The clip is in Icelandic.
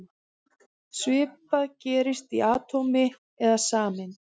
Svipað gerist í atómi eða sameind.